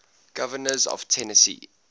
governors of tennessee